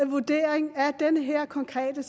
vurdering af den her konkrete